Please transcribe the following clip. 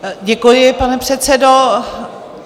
Děkuji, pane předsedo.